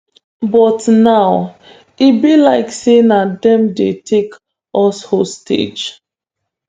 "but now e be like say na dem dey take us hostage. "